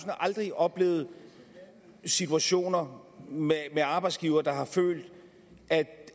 har aldrig oplevet situationer med arbejdsgivere der har følt at